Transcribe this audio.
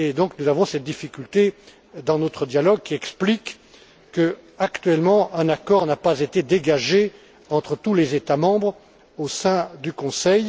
Nous avons donc cette difficulté dans notre dialogue, qui explique que, actuellement, un accord n'a pas été dégagé entre tous les États membres au sein du Conseil.